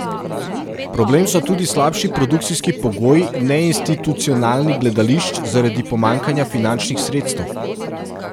Problem so tudi slabši produkcijski pogoji neinstitucionalnih gledališč zaradi pomanjkanja finančnih sredstev.